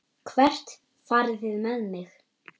Hvert farið þið með mig?